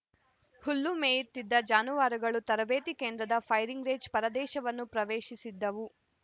ಹುಲ್ಲು ಮೇಯುತ್ತಿದ್ದ ಜಾನುವಾರುಗಳು ತರಬೇತಿ ಕೇಂದ್ರದ ಫೈರಿಂಗ್‌ ರೇಂಜ್‌ ಪ್ರದೇಶವನ್ನು ಪ್ರವೇಶಿಸಿದ್ದವು